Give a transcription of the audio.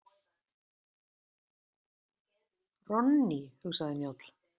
Ronnie, hugsaði Njáll.